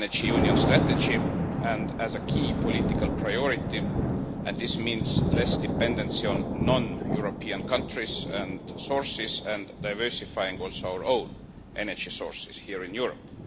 Union strategy and as a key political priority, and this means less dependency on non European countries and sources and also diversifying our own energy sources here in Europe.